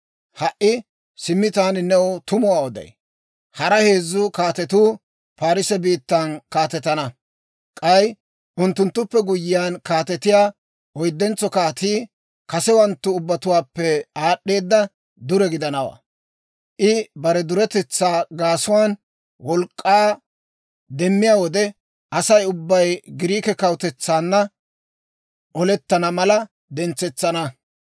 «Ha"i simmi taani new tumuwaa oday. Hara heezzu kaatetuu Parisse biittan kaatetana; k'ay unttunttuppe guyyiyaan kaatetiyaa oyddentso kaatii, kasewanttu ubbatuwaappe aad'd'eeda dure gidanawaa. I bare duretetsaa gaasuwaan wolk'k'aa demmiyaa wode, Asay ubbay Giriike kawutetsaanna olettana mala dentsetsana.